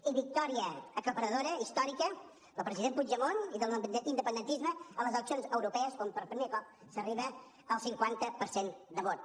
i victòria aclaparadora i històrica del president puigdemont i de l’independentisme a les eleccions europees on per primer cop s’arriba al cinquanta per cent de vot